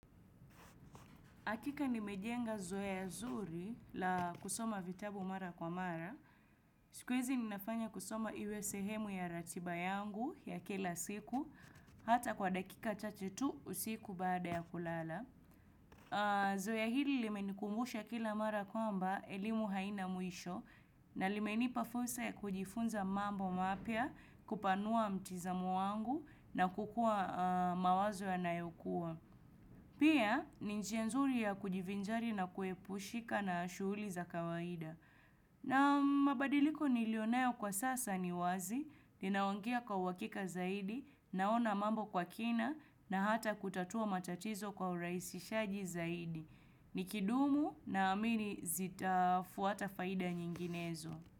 Hakika nimejenga zoea zuri la kusoma vitabu mara kwa mara. Siku hizi ninafanya kusoma iwe sehemu ya ratiba yangu ya kila siku. Hata kwa dakika chache tu usiku baada ya kulala. Zoea hili limenikumbusha kila mara kwamba elimu haina mwisho. Na limenipa fursa ya kujifunza mambo mapya, kupanua mtizamo wangu na kukua mawazo yanayokua. Pia ni njia nzuri ya kujivinjari na kuepushika na shughuli za kawaida. Na mabadiliko nilionayo kwa sasa ni wazi, ninaongea kwa uhakika zaidi, naona mambo kwa kina na hata kutatua matatizo kwa urahisishaji zaidi. Nikidumu naamini zitafuata faida nyinginezo.